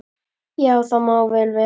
Já, það má vel vera.